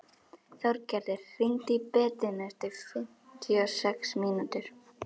Þorgerður, hringdu í Bedínu eftir fimmtíu og sex mínútur.